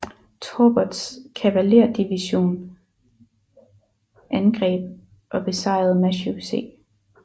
Torberts kavaleridivision angreb og besejrede Matthew C